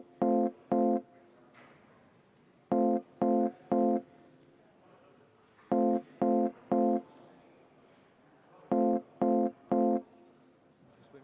V a h e a e g